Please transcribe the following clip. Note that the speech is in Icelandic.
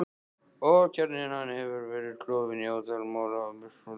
Og kjarninn hann hefur verið klofinn í ótal mola, miskunnarlaust.